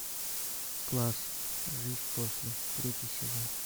класс жизнь после третий сезон